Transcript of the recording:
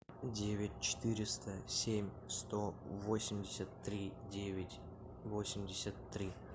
девять четыреста семь сто восемьдесят три девять восемьдесят три